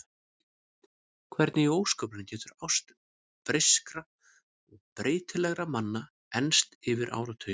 Hvernig í ósköpunum getur ást breyskra og breytilegra manna enst yfir áratugina?